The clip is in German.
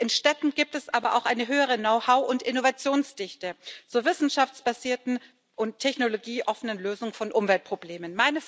In Städten gibt es aber auch eine höhere Know how und Innovationsdichte zur wissenschaftsbasierten und technologieoffenen Lösung von Umweltproblemen.